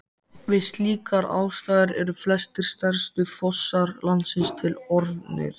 Við slíkar aðstæður eru flestir stærstu fossar landsins til orðnir.